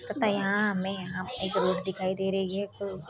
तथा यहाँ हमे यहाँ एक रोड दिखाई दे रही है।